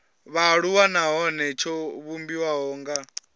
vhaaluwa nahone tsho vhumbiwa nga